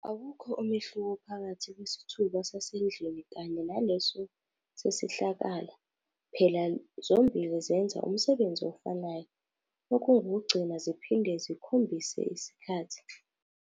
Awukho umehluko phakathi kwesithuba sasendlini kanye naleso sesihlakala, phela zombhili zenza umsebenzi ofanayo, okungukugcina ziphinde zikhombhise isikhathi.